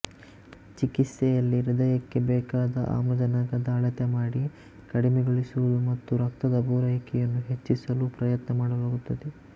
ಚಿಕಿತ್ಸೆಯಲ್ಲಿ ಹೃದಯಕ್ಕೆ ಬೇಕಾದ ಆಮ್ಲಜನಕದ ಅಳತೆಮಾಡಿ ಕಡಿಮೆಗೊಳಿಸುವುದು ಮತ್ತು ರಕ್ತದ ಪೂರೈಕೆಯನ್ನು ಹೆಚ್ಚಿಸಲು ಪ್ರಯತ್ನ ಮಾಡಲಾಗುತ್ತದೆ